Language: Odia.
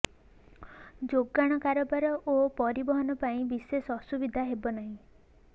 ଯୋଗାଣ କାରବାର ଓ ପରିବହନ ପାଇଁ ବିଶେଷ ଅସୁବିଧା ହେବ ନାହିଁ